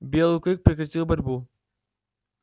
белый клык прекратил борьбу